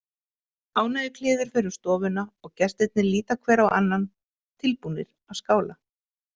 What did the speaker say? Ánægjukliður fer um stofuna og gestirnir líta hver á annan, tilbúnir að skála.